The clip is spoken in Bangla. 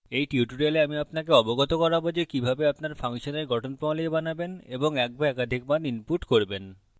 in tutorial আমি আপনাকে অবগত করাব যে কিভাবে আপনার ফাংশন in গঠন প্রণালী বানাবেন এবং কিভাবে in বা একাধিক মান input করবেন